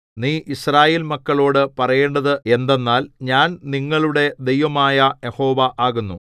നീ യിസ്രായേൽ മക്കളോടു പറയേണ്ടത് എന്തെന്നാൽ ഞാൻ നിങ്ങളുടെ ദൈവമായ യഹോവ ആകുന്നു